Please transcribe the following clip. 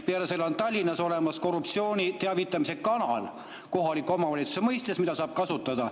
Peale selle on Tallinnas olemas korruptsioonist teavitamise kanal kohaliku omavalitsuse mõistes, mida saab kasutada.